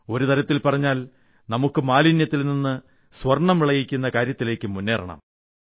ഒരു തരത്തിൽ പറഞ്ഞാൽ നമുക്ക് മാലിന്യത്തിൽ നിന്ന് സ്വർണ്ണം വിളയിക്കുന്ന കാര്യത്തിലേക്ക് മുന്നേറണം